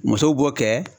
Muso b'o kɛ